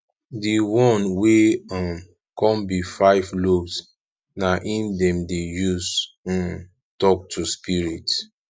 di one wey um kon bi five lobes na em dem dey use um tok to spirit